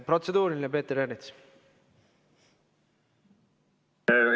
Protseduuriline, Peeter Ernits!